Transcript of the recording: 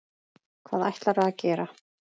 Hvað ætlarðu að gera?